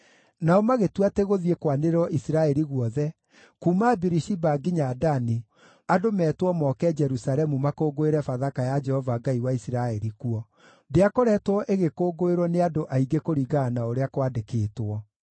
Nao magĩtua atĩ gũthiĩ kwanĩrĩrwo Isiraeli guothe, kuuma Birishiba nginya Dani, andũ meetwo moke Jerusalemu makũngũĩre Bathaka ya Jehova Ngai wa Isiraeli kuo. Ndĩakoretwo ĩgĩkũngũĩrwo nĩ andũ aingĩ kũringana na ũrĩa kwandĩkĩtwo.